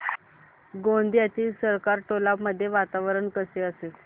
गोंदियातील सरकारटोला मध्ये वातावरण कसे असेल